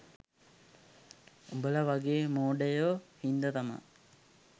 උඹලා වගේ මෝඩයෝ හින්දා තමා